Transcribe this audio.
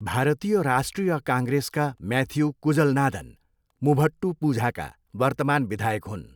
भारतीय राष्ट्रिय काङ्ग्रेसका म्याथ्यू कुजलनादन मुभट्टुपुझाका वर्तमान विधायक हुन्।